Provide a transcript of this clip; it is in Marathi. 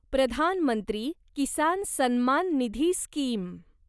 प्रधान मंत्री किसान सन्मान निधी स्कीम